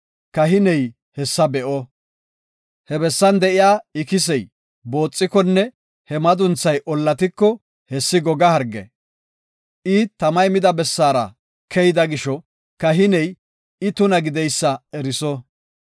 kahiney he bessa be7o. He bessan de7iya ikisey booxikonne he madunthay ollatiko, hessi goga harge. I tamay mida bessaara keyida gisho kahiney I tuna gideysa eriso.